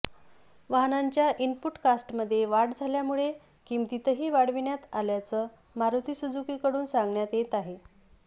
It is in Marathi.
वाहनांच्या इनपुट कास्टमध्ये वाढ झाल्यामुळे किंमतीही वाढविण्यात आल्याचं मारुती सुजुकीकडून सांगण्यात येत आहे